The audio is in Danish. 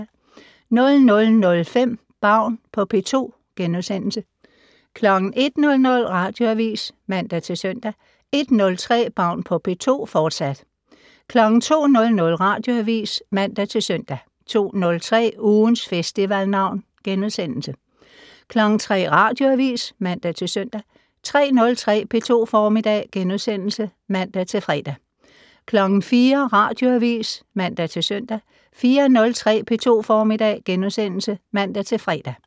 00:05: Baun på P2 * 01:00: Radioavis (man og -søn) 01:03: Baun på P2, fortsat 02:00: Radioavis (man-søn) 02:03: Ugens Festivalnavn * 03:00: Radioavis (man-søn) 03:03: P2 Formiddag *(man-fre) 04:00: Radioavis (man-søn) 04:03: P2 Formiddag *(man-fre)